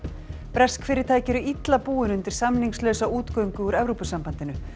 bresk fyrirtæki eru illa búin undir samningslausa útgöngu úr Evrópusambandinu